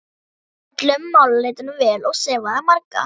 Hann tók öllum málaleitunum vel og sefaði marga.